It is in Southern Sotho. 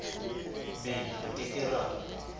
be re ke ke ra